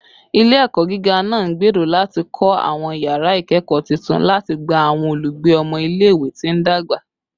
Ile-ẹkọ giga naa ngbero lati kọ awọn yara ikẹkọ tuntun lati gba awọn olugbe ọmọ ile-iwe ti ndagba